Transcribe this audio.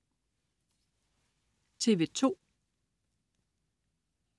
TV2: